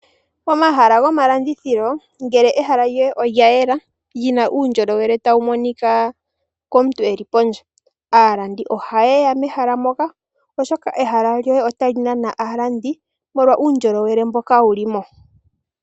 Omahala gomalandithilo ngele olyayela lina uundjolowele tawumonika kaantu yeli pondje , aalandi ohayeya mehala moka oshoka ehala lyoye otali nana aalandi molwa uundjolowele mboka wulimo.